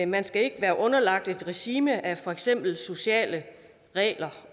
man skal ikke være underlagt et regime af for eksempel sociale regler